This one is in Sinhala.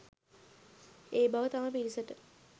ඒ බව තම පිරිසට